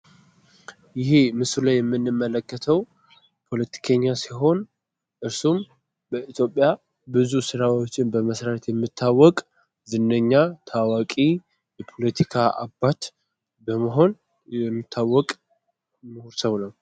ይሄ ምስሉ ላይ የምንመለከተው ፖለቲከኛ ሲሆን እሱም በኢትዮጵያ ብዙ ስራዎችን በመስራት የሚታወቅ ዝነኛ ፣ታዋቂ የፖለቲካ አባት በመሆን የሚታወቅ ሙሁር ሰው ነው።